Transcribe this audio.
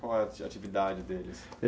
Qual a atividade deles?